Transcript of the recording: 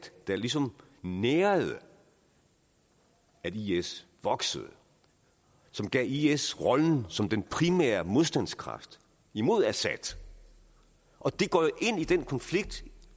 der ligesom nærede at is voksede som gav is rollen som den primære modstandskraft imod assad og det går ind i den konflikt